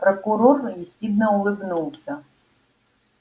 прокурор ехидно улыбнулся